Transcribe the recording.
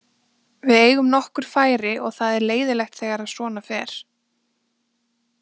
Við eigum nokkur færi og það er leiðinlegt þegar að svona fer.